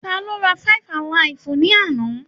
Tá ló rá five-alaifu ni àna?